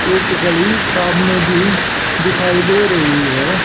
एक गली सामने भी दिखाई दे रही है।